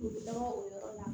U bɛ taga o yɔrɔ la